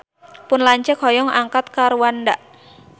Pun lanceuk hoyong angkat ka Rwanda